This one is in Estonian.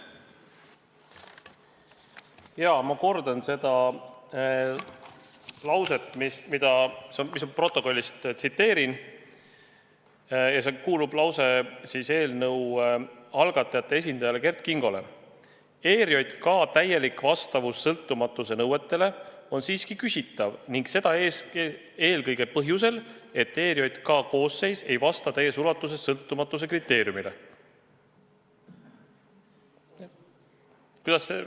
Ma kordan lauset protokollist, see kuulub eelnõu algatajate esindajale Kert Kingole: "ERJK täielik vastavus sõltumatuse nõuetele on siiski küsitav ning seda eelkõige põhjusel, et ERJK koosseis ei vasta täies ulatuses sõltumatuse kriteeriumile.